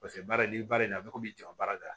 Paseke baara in ni baara in a bɛ komi jɔn baara de la